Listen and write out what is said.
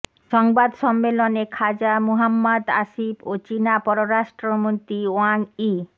সংবাদ সম্মেলনে খাজা মুহাম্মাদ আসিফ ও চীনা পররাষ্ট্রমন্ত্রী ওয়াং ই